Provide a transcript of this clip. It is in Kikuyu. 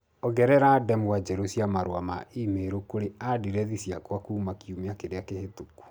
ongerera ndemwa njerũ cia marũa ma e-mail kũrĩ andirethi ciakwa kuuma kiumia kĩrĩa kĩhĩtũku